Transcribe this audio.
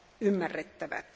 ymmärrettävät.